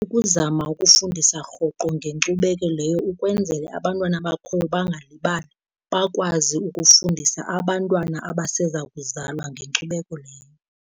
Ukuzama ukufundisa rhoqo ngenkcubeko leyo ukwenzele abantwana abakhoyo bangalibali, bakwazi ukufundisa abantwana abaseza kuzalwa ngenkcubeko leyo.